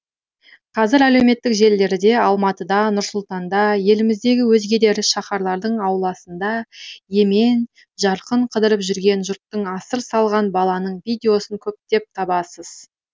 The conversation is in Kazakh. қазір әлеуметтік желілерде алматыда нұр сұлтанда еліміздегі өзге де ірі шаһарлардың ауласында емен жарқын қыдырып жүрген жұрттың асыр салған баланың видеосын көптеп табасыз